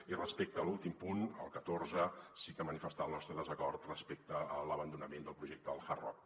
i respecte a l’últim punt el catorze sí que manifestar el nostre desacord respecte a l’abandonament del projecte del hard rock